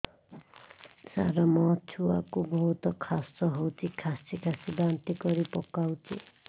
ସାର ମୋ ଛୁଆ କୁ ବହୁତ କାଶ ହଉଛି କାସି କାସି ବାନ୍ତି କରି ପକାଉଛି